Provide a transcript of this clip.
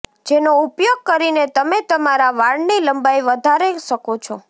જેનો ઉપયોગ કરીને તમે તમારા વાળની લંબાઈ વધારે શકો છો